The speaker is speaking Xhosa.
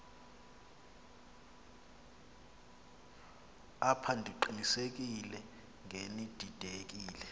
apha ndiqinisekile ngenididekile